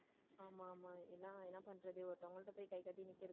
ஆமா ஆமா எல்லாம் என்ன பண்றது ஒருத்தவங்க கிட்ட போய் கைகட்டி நிற்கிறது.